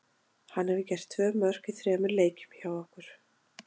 Hann hefur gert tvö mörk í þremur leikjum hjá okkur.